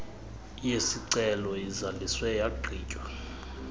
yesicelo izaliswe yagqitywa